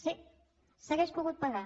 sí s’hauria pogut pagar